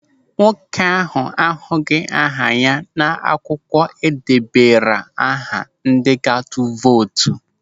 Nwoke ahụ ahụghị aha n'akwụkwọ edebara aha ndị ga-atụ vootu.